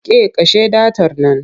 Ke kashe datar nan!